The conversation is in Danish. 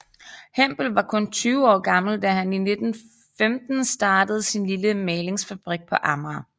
Hempel var kun tyve år gammel da han i 1915 startede sin lille malingsfabrik på Amager